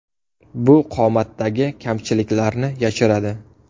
Bu qomatdagi kamchiliklarni yashiradi.